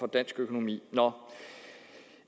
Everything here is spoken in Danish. dansk økonomi